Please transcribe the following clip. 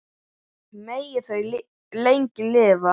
En samt er þetta birt.